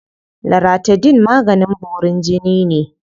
Laratidine maganin borin jini ne.